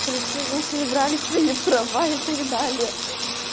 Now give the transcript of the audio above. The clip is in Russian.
что бы вы все женщины брали свои права и так далее